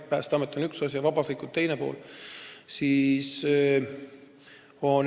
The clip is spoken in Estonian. Päästeamet on üks pool ja vabatahtlikud teine pool.